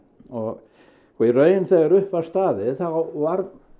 og þegar upp var staðið þá var